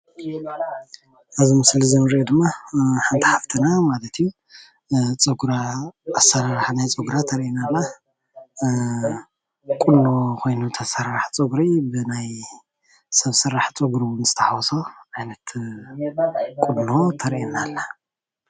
እዚ ምስሊ እዙይ እንሪኦ ድማ ሓንቲ ሓፍትና ማለት እዩ። ፀጉራ ኣሰራርሓ ናይ ፀጉራ ተርእየና ኣላ። ቁኖ ኮይኑ ተሰራርሓ ፀጉሪ ሰብ ስራሕ ፀጉሪ ምስተሓወሶ ቁኖ ተርእየና ኣላ